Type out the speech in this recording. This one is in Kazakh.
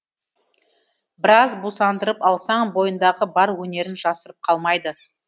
біраз бусандырып алсаң бойындағы бар өнерін жасырып қалмайды